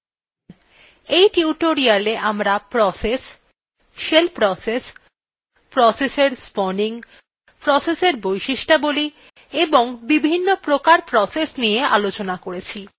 এই tutorial আমরা process shell process process এর spawning process এর বৈশিষ্ঠবলী এবং বিভিন্ন্ প্রকার process নিয়ে আলোচনা করেছি